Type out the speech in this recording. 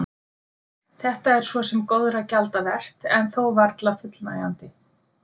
Þetta er svo sem góðra gjalda vert en þó varla fullnægjandi.